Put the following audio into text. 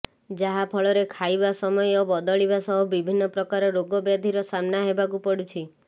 ଯାହାଫଳରେ ଖାଇବା ସମୟ ବଦଳିବା ସହ ବିଭିନ୍ନ ପ୍ରକାର ରୋଗବ୍ୟଧିର ସାମ୍ନା ହେବାକୁ ପଡ଼ୁଛି